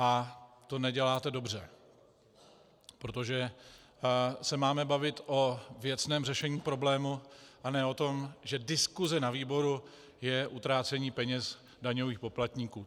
A to neděláte dobře, protože se máme bavit o věcném řešení problému, a ne o tom, že diskuse na výboru je utrácení peněz daňových poplatníků.